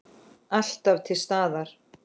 Alltaf til staðar.